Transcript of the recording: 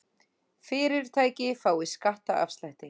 Fyrirtæki fái skattaafslætti